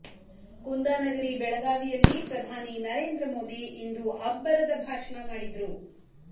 ಕುಂದಾ ನಗರಿ ಬೆಳಗಾವಿಯಲ್ಲಿ ಪ್ರಧಾನಿ ನರೇಂದ್ರ ಮೋದಿ ಇಂದು ಅಬ್ಬರದ ಭಾಷಣ ಮಾಡಿದ್ರು